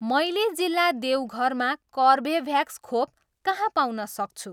मैले जिल्ला देवघरमा कर्बेभ्याक्स खोप कहाँ पाउन सक्छु?